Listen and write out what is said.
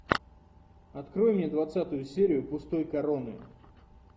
открой мне двадцатую серию пустой короны